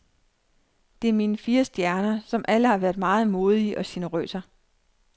Det er mine fire stjerner, som alle har været meget modige og generøse.